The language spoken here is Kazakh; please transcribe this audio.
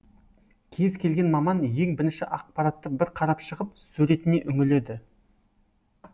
кез келген маман ең бірінші ақпаратты бір қарап шығып суретіне үңіледі